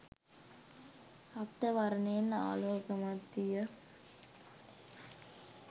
රක්ත වර්ණයෙන් ආලෝකමත් විය.